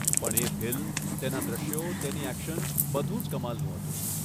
પણ એ ફિલ્મ, તેના દૃશ્યો, તેની એક્શન, બધું જ કમાલનું હતું.